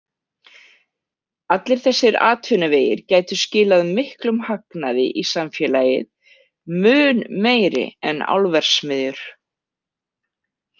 Allir þessir atvinnuvegir gætu skilað miklum hagnaði í samfélagið, mun meiri en álverksmiðjur.